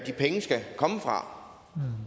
skal komme fra